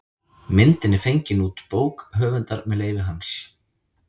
Myndin er fengin út bók höfundar með leyfi hans.